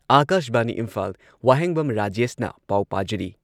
ꯑꯥꯀꯥꯁꯕꯥꯅꯤ ꯏꯝꯐꯥꯜ ꯋꯥꯍꯦꯡꯕꯝ ꯔꯥꯖꯦꯁꯅ ꯄꯥꯎ ꯄꯥꯖꯔꯤ